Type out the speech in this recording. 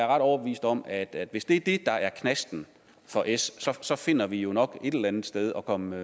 ret overbevist om at hvis det er det der er knasten for s finder vi jo nok et eller andet sted at komme